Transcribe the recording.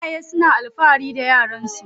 Iyaye suna alfahari da yaran su.